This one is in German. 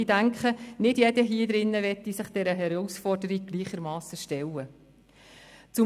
Ich denke, nicht jeder hier im Saal würde sich dieser Herausforderung gleichermassen stellen wollen.